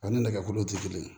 Ani nɛgɛkolo tɛ kelen